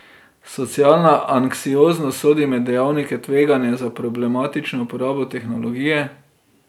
Socialna anksioznost sodi med dejavnike tveganja za problematično uporabo tehnologije.